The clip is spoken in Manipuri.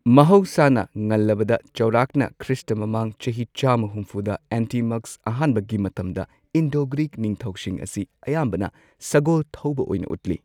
ꯃꯍꯧꯁꯥꯅ, ꯉꯜꯂꯕꯗ ꯆꯥꯎꯔꯥꯛꯅ ꯈ꯭ꯔꯤꯁꯇꯈ꯭ꯔꯤꯁ꯭ꯠ ꯃꯃꯥꯡ ꯆꯍꯤ ꯆꯥꯝꯃ ꯍꯨꯝꯐꯨꯗ ꯑꯦꯟꯇꯤꯃꯛꯁ ꯑꯍꯥꯟꯕꯒꯤ ꯃꯇꯝꯗ ꯏꯟꯗꯣ ꯒ꯭ꯔꯤꯛ ꯅꯤꯡꯊꯧꯁꯤꯡ ꯑꯁꯤ ꯑꯌꯥꯝꯕꯅ ꯁꯒꯣꯜ ꯊꯧꯕ ꯑꯣꯏꯅ ꯎꯠꯂꯤ꯫